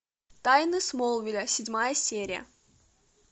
тайны смолвиля седьмая серия